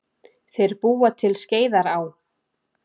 Þeir búa til Skeiðará.